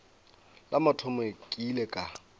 la mathomo ke ile ka